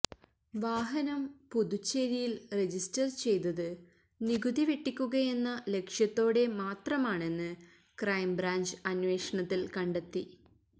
വാഹനം പുതുച്ചേരിയില് രജിസ്റ്റര് ചെയ്തത് നികുതി വെട്ടിക്കുകയെന്ന ലക്ഷ്യത്തോടെ മാത്രമാണെന്ന് ക്രൈംബ്രാഞ്ച് അന്വേഷണത്തില് കണ്ടെത്തി